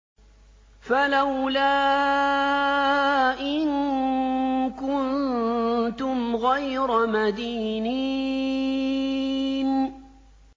فَلَوْلَا إِن كُنتُمْ غَيْرَ مَدِينِينَ